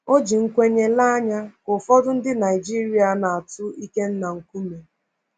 O ji nkwenye lee anya ka ụfọdụ ndị Naịjiria na-atụ Ikenna nkume.